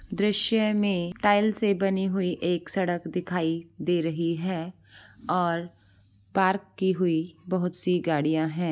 दृश्य में टाइल्स से बनी हुई एक सड़क दिखाई दे रही है और पार्क की हुई बहुत सी गाड़ियाँ है ।